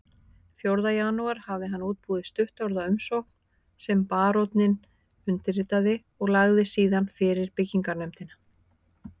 Fjórða janúar hafði hann útbúið stuttorða umsókn sem baróninn undirritaði og lagði síðan fyrir byggingarnefndina